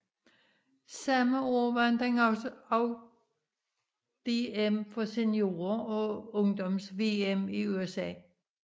Samme år vandt han også DM for seniorer og Ungdoms VM i USA